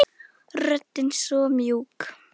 Röddin svo mjúk.